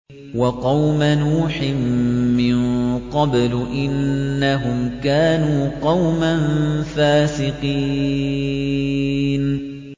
وَقَوْمَ نُوحٍ مِّن قَبْلُ ۖ إِنَّهُمْ كَانُوا قَوْمًا فَاسِقِينَ